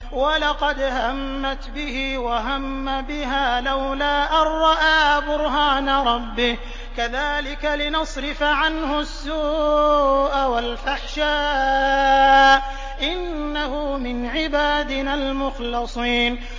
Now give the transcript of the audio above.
وَلَقَدْ هَمَّتْ بِهِ ۖ وَهَمَّ بِهَا لَوْلَا أَن رَّأَىٰ بُرْهَانَ رَبِّهِ ۚ كَذَٰلِكَ لِنَصْرِفَ عَنْهُ السُّوءَ وَالْفَحْشَاءَ ۚ إِنَّهُ مِنْ عِبَادِنَا الْمُخْلَصِينَ